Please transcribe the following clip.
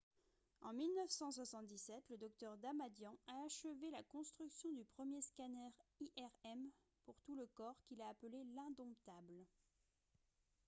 en 1977 le dr. damadian a achevé la construction du premier scanner irm pour tout le corps qu'il a appelé « l'indomptable »